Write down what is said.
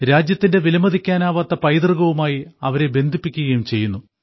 രാജ്യത്തിന്റെ വിലമതിക്കാനാകാത്ത പൈതൃകവുമായി അവരെ ബന്ധിപ്പിക്കുകയും ചെയ്യുന്നു